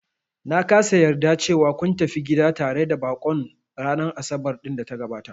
Na kasa yarda cewa kun tafi gida tare da baƙon ranar Asabar ɗin da ta gabata